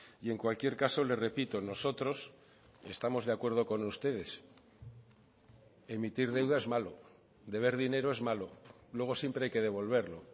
y en cualquier caso le repito nosotros estamos de acuerdo con ustedes emitir deuda es malo deber dinero es malo luego siempre hay que devolverlo